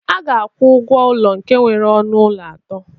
A ga-akwụ ụgwọ ụlọ nke nwere ọnụ ụlọ atọ